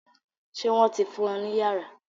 Ṣé wọ́n ti fún ọ ní yàrá?